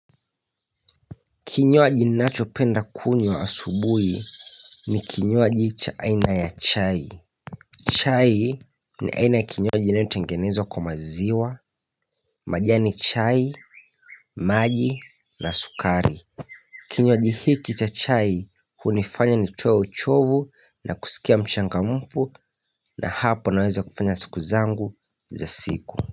Kinywaji ninacho penda kunywa asubuhi ni kinywaji cha aina ya chai chai ni aina ya kinywaji inayo tengenezwa kwa maziwa, majani chai, maji na sukari Kinywaji hiki cha chai hunifanya nitoe uchovu na kusikia mchangamufu na hapo naweza kufanya siku zangu za siku.